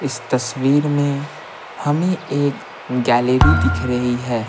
इस तस्वीर में हमें एक गैलरी दिख रही है।